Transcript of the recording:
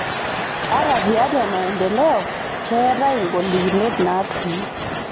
Ata tiatua maendeleo, keetai ngolikinot naatumi